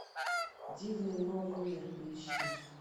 дивный новый мир поищи